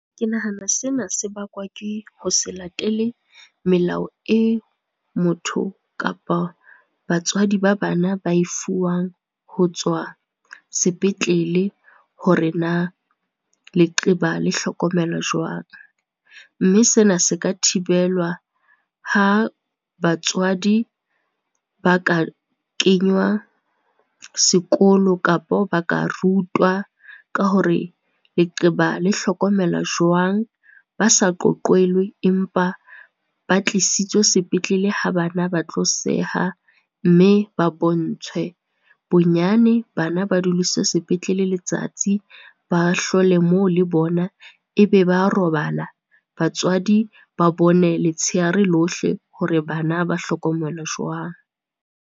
Ke nahana sena se bakwa ke ho se latele melao e motho kapa batswadi ba bana ba e fuwang ho tswa sepetlele hore na leqeba le hlokomelwa jwang. Mme sena se ka thibelwa ha batswadi ba ka kenywa sekolo kapo ba ka rutwa ka hore leqeba le hlokomela jwang, ba sa qoqelwe empa ba tlisitswe sepetlele ha bana ba tlo seha, mme ba bontshwe. Bonyane, bana ba dudiswe sepetlele letsatsi, ba hlole moo le bona e be ba robala, batswadi ba bone letshehare lohle hore bana ba hlokomelwa jwang.